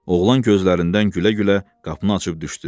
Oğlan gözlərindən gülə-gülə qapını açıb düşdü.